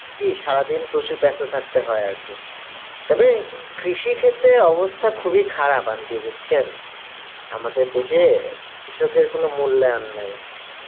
কি সারাদিন প্রচুর ব্যস্ত থাকতে হয় আরকি তবে কৃষি ক্ষেত্রের অবস্থা খুব এ খারাপ aunty বুজছেন আমাদের দেশে কৃষকের কোনো মূল্যায়ন নাই